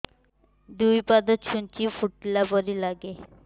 ଦୁଇ ପାଦ ଛୁଞ୍ଚି ଫୁଡିଲା ପରି ଲାଗେ